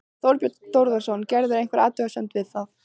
Þorbjörn Þórðarson: Gerirðu einhverja athugasemd við það?